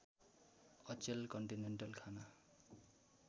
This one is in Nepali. अचेल कन्टिनेन्टल खाना